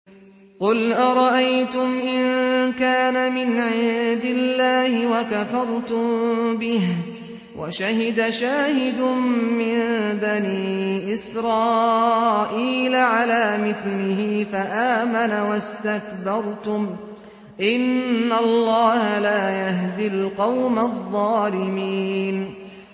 قُلْ أَرَأَيْتُمْ إِن كَانَ مِنْ عِندِ اللَّهِ وَكَفَرْتُم بِهِ وَشَهِدَ شَاهِدٌ مِّن بَنِي إِسْرَائِيلَ عَلَىٰ مِثْلِهِ فَآمَنَ وَاسْتَكْبَرْتُمْ ۖ إِنَّ اللَّهَ لَا يَهْدِي الْقَوْمَ الظَّالِمِينَ